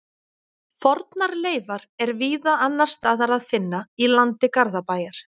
Fornar leifar er víða annars staðar að finna í landi Garðabæjar.